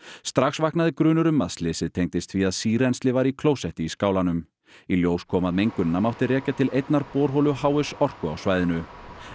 strax vaknaði grunur um að slysið tengdist því að sírennsli var í klósetti í skálanum í ljós kom að mengunina mátti rekja til einnar borholu h s Orku á svæðinu